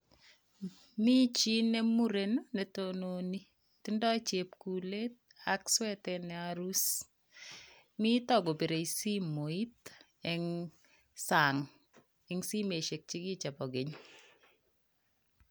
Mi chii ne muren ne tononi, tindoi chepkulet ak swetait ne aruus. Mito kobirei simoit eng sang eng simosiek chekiche bo keny.